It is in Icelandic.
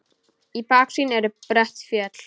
Í baksýn eru brött fjöll.